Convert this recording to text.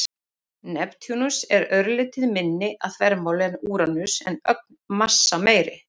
Neptúnus er örlítið minni að þvermáli en Úranus en ögn massameiri.